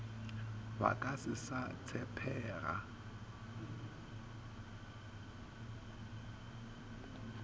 ba ka se sa tshepega